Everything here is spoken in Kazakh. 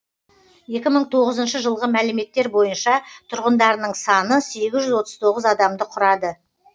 екі мың тоғызыншы жылғы мәліметтер бойынша тұрғындарының саны сегіз жүз отыз тоғыз адамды құрады